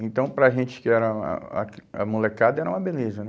Então, para a gente que era a a a molecada, era uma beleza.